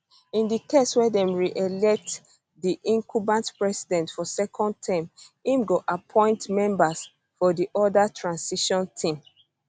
in di case wia dem reelect di incumbent president for second term im go appoint members for di oda transition team